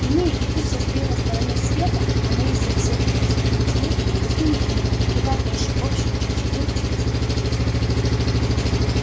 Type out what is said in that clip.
иные и пусть я стою на стороне света а мои собеседники на стороне тьмы но с ними у меня куда больше общего чем с любым из простых людей